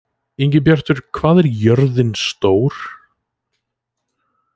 Ingibjartur, hvað er jörðin stór?